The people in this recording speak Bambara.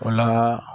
O la